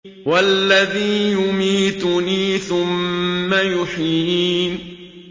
وَالَّذِي يُمِيتُنِي ثُمَّ يُحْيِينِ